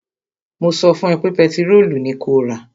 Mo sọ fún ẹ pé pẹtirólù ni kó rà!